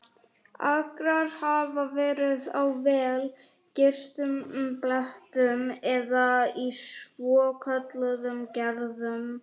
Akrar hafa verið á vel girtum blettum eða í svokölluðum gerðum.